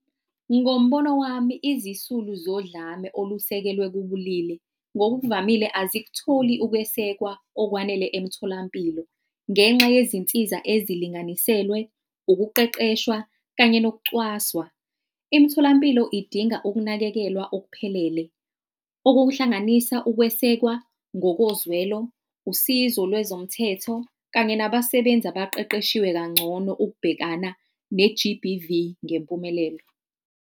Ngombono wami, izisulu zodlame olusekelwe kubulili, ngokukuvamile azikutholi ukwesekwa okwanele emtholampilo. Ngenxa yezinsiza ezilinganiselwe ukuqeqeshwa kanye nokucwaswa. Imitholampilo idinga ukunakekelwa okuphelele, okuhlanganisa ukwesekwa ngokozwelo, usizo lwezomthetho kanye nabasebenzi abaqeqeshiwe kangcono ukubhekana ne-G_B_V ngempumelelo.